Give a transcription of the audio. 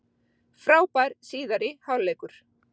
Frábær síðari hálfleikur